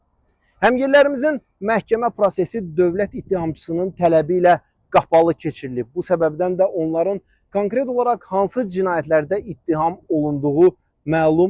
Həmyerlilərimizin məhkəmə prosesi dövlət ittihamçısının tələbi ilə qapalı keçirilib, bu səbəbdən də onların konkret olaraq hansı cinayətlərdə ittiham olunduğu məlum olmayıb.